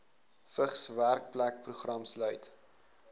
vigs werkplekprogram sluit